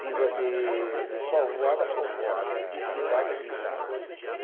de de de povoado a povoado, de cidade a cidade.